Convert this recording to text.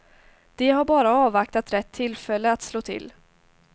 De har bara avvaktat rätt tillfälle att slå till.